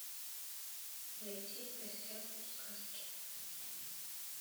найти в гостях у сказки